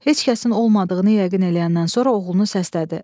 Heç kəsin olmadığını yəqin eləyəndən sonra oğlunu səslədi.